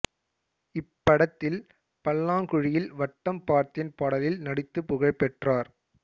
இப்படத்தில் பல்லாங்குழியில் வட்டம் பார்த்தேன் பாடலில் நடித்து புகழ் பெற்றார்